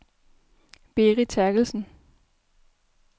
Birgit Therkelsen